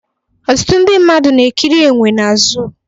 Ọtụtụ ndị mmadụ na-ekiri enwe na zoo